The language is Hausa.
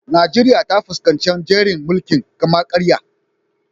Najeriya ta fuskanci jerin mulkin kama-karya.